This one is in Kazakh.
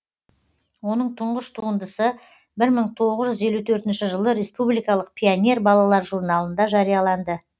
оның тұңғыш туындысы бір мың тоғыз жүз елу төртінші жылы республикалық пионер балалар журналында жарияланды